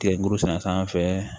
Kile muru sɛnɛ sanfɛ